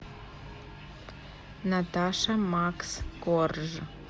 наташа макс корж